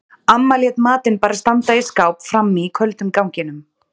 Amma lét matinn bara standa í skáp frammi í köldum ganginum.